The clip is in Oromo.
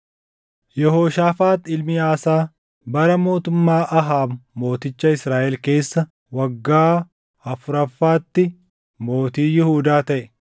Yehooshaafaax ilmi Aasaa, bara mootummaa Ahaab mooticha Israaʼel keessa waggaa afuraffaatti mootii Yihuudaa taʼe.